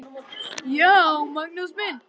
GRÍMUR: Já, Magnús minn!